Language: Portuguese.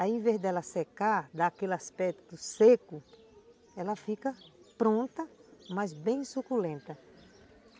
Ao invés dela secar, dar aquele aspecto seco, ela fica pronta, mas bem suculenta.